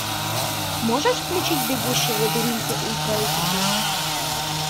можешь включить бегущий в лабиринте ультра эйч ди